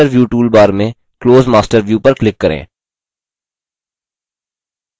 master view toolbar में close master view पर click करें